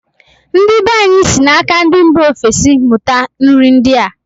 Ndi be anyị si na-aka ndị mba ofesi mụta nri ndịa.